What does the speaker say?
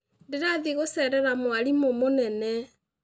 Ndĩrathiĩ gũcerera mwarimũ mũnene